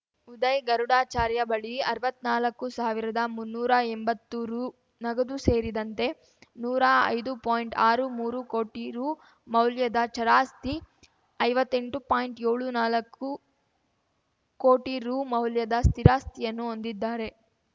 ಉದಯ್‌ ಗರುಡಾಚಾರ್ಯ ಬಳಿ ಅರ್ವತ್ನಾಲಕ್ಕು ಸಾವಿರದಮುನ್ನೂರಾ ಎಂಬತ್ತು ರೂ ನಗದು ಸೇರಿದಂತೆ ನೂರಾ ಐದು ಪಾಯಿಂಟ್ಆರು ಮೂರು ಕೋಟಿ ರು ಮೌಲ್ಯದ ಚರಾಸ್ತಿ ಐವತ್ತೆಂಟು ಪಾಯಿಂಟ್ಏಳು ನಾಲಕ್ಕು ಕೋಟಿ ರು ಮೌಲ್ಯದ ಸ್ಥಿರಾಸ್ತಿಯನ್ನು ಹೊಂದಿದ್ದಾರೆ